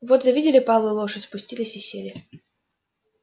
вот завидели палую лошадь спустились и сели